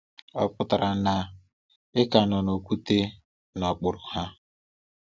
Ọ pụtara na ị ka nọ n’okwute n’okpuru ha.